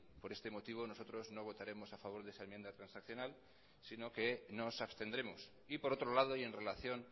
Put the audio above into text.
por este motivo nosotros no votaremos a favor de esa enmienda transaccional sino que nos abstendremos y por otro lado y en relación